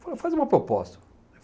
Falou, faz uma proposta.